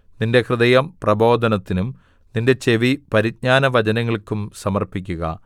നിന്റെ ഹൃദയം പ്രബോധനത്തിനും നിന്റെ ചെവി പരിജ്ഞാനവചനങ്ങൾക്കും സമർപ്പിക്കുക